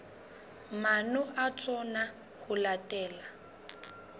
maano a tsona ho latela